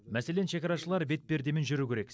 мәселен шекарашылар бетпердемен жүру керек